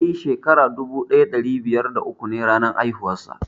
Eh, shekara dubu daya dari biyar da uku ne ranar haihuwar sa.